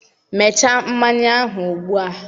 mechaa mmanya ahụ ugbu a!